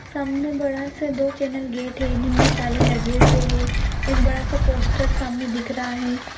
सामने बड़ा सा दो चैनल गेट है। जिनमें ताले लगे हुए हैं। एक बड़ा सा पोस्टर सामने दिख रहा है।